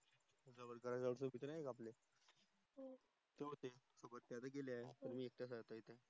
तीत